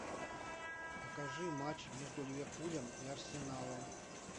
покажи матч между ливерпулем и арсеналом